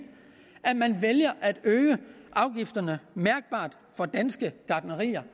at man vælger at øge afgifterne mærkbart for danske gartnerier